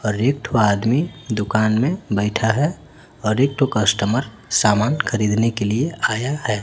और एक ठो आदमी दुकान में बैठा है और एक ठो कस्टमर सामान खरीदने के लिए आया है।